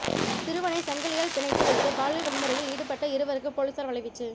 சிறுவனை சங்கிலியால் பிணைத்து வைத்து பாலியல் வன்முறையில் ஈடுபட்ட இருவருக்கு போலீசார் வலைவீச்சு